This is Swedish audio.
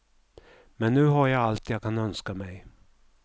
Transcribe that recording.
Men nu har jag allt jag kan önska mig.